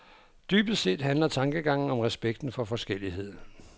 Dybest set handler tankegangen om respekten for forskellighed.